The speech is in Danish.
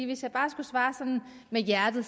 hvis jeg bare skulle svare med hjertet